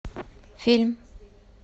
фильм